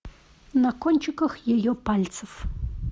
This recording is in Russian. на кончиках ее пальцев